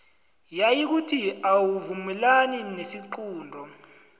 nayikuthi awuvumelani nesiqunto